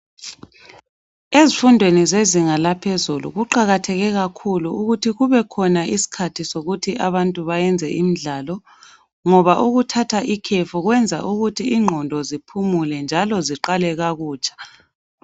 Ezifundweni zezinga laphezulu kuqakatheka kakhulu ukuthi kubekhona isikhathi sokuthi abantu bayenze imidlalo ngoba ukuthatha ikhefu kwenza ukuthi ingqondo ziphumule njalo ziqalekakutsha.